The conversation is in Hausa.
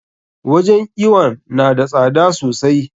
Wajen iwon na da tsada sosai.